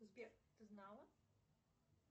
сбер ты знала